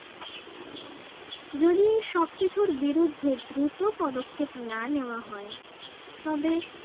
যদি এই সবকিছুর বিরুদ্ধে দ্রুত পদক্ষেপ না নেওয়া হয় তবে